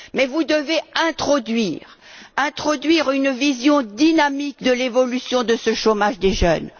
Vous devez introduire une vision dynamique de l'évolution de ce chômage des jeunes.